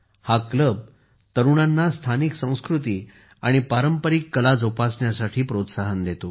हा क्लब तरुणांना स्थानिक संस्कृती आणि पारंपारिक कला जोपासण्यासाठी प्रोत्साहन देतो